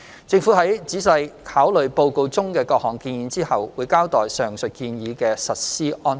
政府在仔細考慮報告中的各項建議後，會交代上述建議的實施安排。